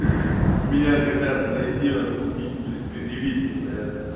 ха меня хотят найти отлупить блять предъявить мне за это